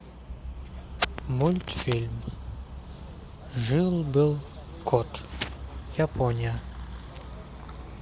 мультфильм жил был кот япония